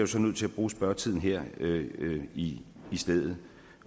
så nødt til at bruge spørgetiden her i stedet